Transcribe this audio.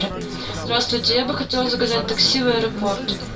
здравствуйте я бы хотела заказать такси в аэропорт